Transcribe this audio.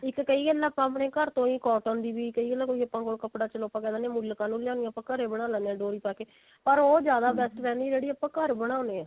ਇੱਕ ਕਈ ਵਾਰ ਆਪਾਂ ਆਪਣੇ ਘਰ ਤੋਂ ਹੋ cotton ਦੀ ਵੀ ਕਈ ਵਲ ਕੋਈ ਆਪਾਂ ਕੋਲ ਕਪੜਾ ਚਲੋ ਆਪਾਂ ਕਿਹ ਮੁੱਲ ਕਾਹਨੂੰ ਲਿਆਉਣ ਘਰੇ ਬਣਾ ਲੈਂਦੇ ਹਾਂ ਡੋਰੀ ਪਾ ਕੇ ਪਰ ਉਹ ਜਿਆਦਾ best ਰਹਿੰਦੀ ਜਿਹੜੀ ਆਪਾਂ ਘਰੇ ਬਣਾਉਂਦੇ ਆਂ